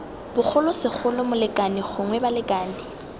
bogolo segolo molekane gongwe balekane